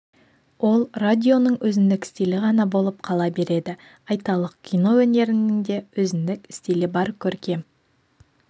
ол радионың өзіндік стилі ғана болып қала береді айталық кино өнерінің де өзіндік стилі бар көркем